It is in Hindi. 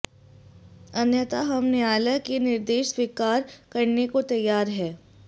अन्यथा हम न्यायालय के निर्देश स्वीकार करने को तैयार हैं